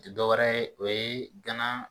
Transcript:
tɛ dɔwɛrɛ ye o ye gana